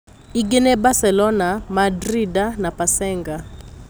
Ingĩ nĩ Baselona, Mandrinda na Pasenga.